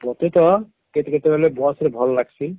ମତେ କହ କେତେ କେତେ ବେଲେ Bus ରେ ଭଲ ଲାଗସି